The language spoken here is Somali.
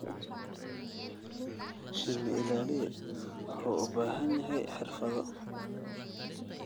Shinni-ilaaliye wuxuu u baahan yahay xirfado.